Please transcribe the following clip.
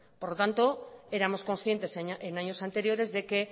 por tanto éramos concientes en años anteriores de que